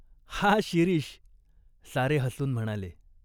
"हा शिरीष !" सारे हसून म्हणाले.